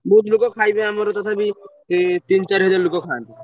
ବହୁତ୍ ଲୋକ ଖାଇବେ ଆମର ତଥାପି ତିନି ଚାରି ହଜାର ଲୋକ ଖାଆନ୍ତି।